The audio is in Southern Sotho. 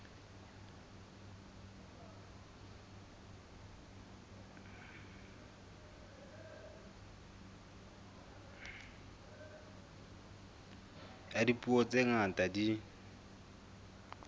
ya dipuo tse ngata di